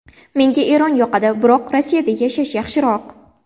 Menga Eron yoqadi, biroq Rossiyada yashash yaxshiroq”.